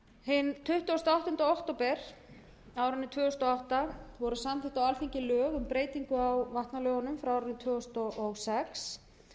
hinn tuttugasta og áttunda október tvö þúsund og átta voru samþykkt á alþingi lög um breytingu á vatnalögum frá árinu tvö þúsund og sex